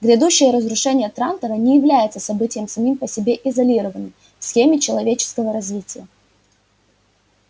грядущее разрушение трантора не является событием самим по себе изолированным в схеме человеческого развития